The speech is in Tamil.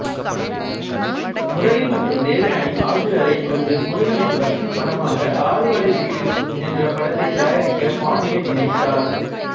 முரளி மற்றும் தேவயானி ஆகியோரைக் கொண்டு முருகனின் பக்திப் படமாக அறுபடை வீடு என்ற படத்தை தயாரிக்க பாண்டியன் நினைத்தார்